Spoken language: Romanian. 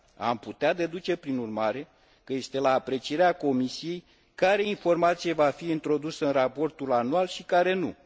Am putea deduce, prin urmare, că este la aprecierea Comisiei care informație va fi introdusă în raportul anual și care nu.